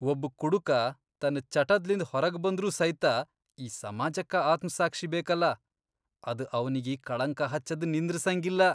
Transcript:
ಒಬ್ಬ್ ಕುಡಕ ತನ್ ಚಟದ್ಲಿಂದ್ ಹೊರಗ್ಬಂದ್ರೂ ಸೈತ ಈ ಸಮಾಜಕ್ಕ ಆತ್ಮ್ಸಾಕ್ಷಿ ಬೇಕಲಾ, ಅದ್ ಅವನಿಗಿ ಕಳಂಕ ಹಚ್ಚದ್ ನಿಂದ್ರಸಂಗಿಲ್ಲಾ.